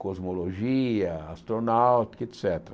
cosmologia, astronauta, et cétera.